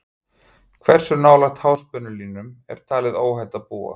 Hversu nálægt háspennulínum er talið óhætt að búa?